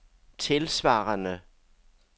tilsvarende